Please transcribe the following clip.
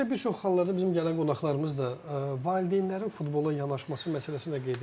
Bir də bir çox hallarda bizim gələn qonaqlarımız da valideynlərin futbola yanaşması məsələsini də qeyd edirlər.